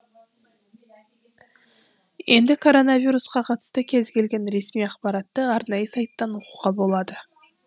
енді коронавирусқа қатысты кез келген ресми ақпаратты арнайы сайттан оқуға болады